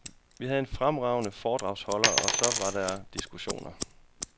Vi havde fremragende foredragsholdere, og så var der diskussioner.